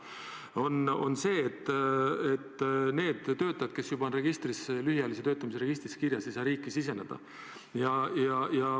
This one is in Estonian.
See mure on see, et need töötajad, kes on juba lühiajalise töötamise registris kirjas, ei saa riiki siseneda.